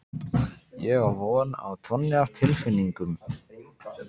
Ég á von á tonni af tilfinningum.